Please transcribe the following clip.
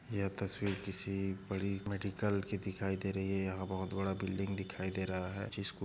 यह तस्वीर किसी बड़ी मेडिकल की दिखाई दे रही है यहा बहुत बड़ा बिल्डिंग दिखाई दे रहा है जिसको --